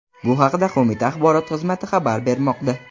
Bu haqda qo‘mita axborot xizmati xabar bermoqda .